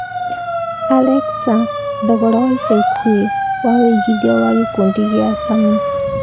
Alexa thogora wa ĩca ikuhĩ wa wĩigĩthĩa wa gikũndi gĩa sameer